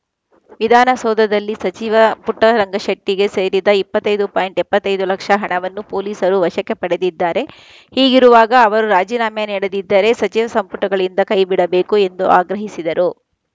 ವಿಧಾನಸೌಧದಲ್ಲಿ ಸಚಿವ ಪುಟ್ಟರಂಗಶೆಟ್ಟಿಗೆ ಸೇರಿದ ಇಪ್ಪತ್ತ್ ಐದು ಪಾಯಿಂಟ್ ಎಪ್ಪತ್ತ್ ಐದು ಲಕ್ಷ ಹಣವನ್ನು ಪೊಲೀಸರು ವಶಕ್ಕೆ ಪಡೆದಿದ್ದಾರೆ ಹೀಗಿರುವಾಗ ಅವರು ರಾಜೀನಾಮೆ ನೀಡದಿದ್ದರೆ ಸಚಿವ ಸಂಪುಟಗಳಿಂದ ಕೈಬಿಡಬೇಕು ಎಂದು ಆಗ್ರಹಿಸಿದರು